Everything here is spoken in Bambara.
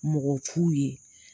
Mɔgɔ fu ye